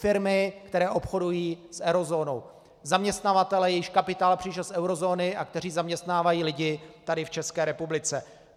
Firmy, které obchodují s eurozónou, zaměstnavatelé, jejichž kapitál přišel z eurozóny a kteří zaměstnávají lidi tady v České republice.